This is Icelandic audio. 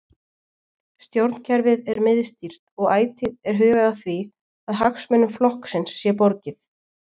Stjórnkerfið er miðstýrt og ætíð er hugað að því að hagsmunum flokksins sé borgið.